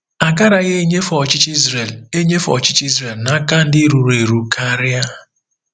Agaraghị enyefe ọchịchị Israel enyefe ọchịchị Israel n'aka ndị ruru eru karịa.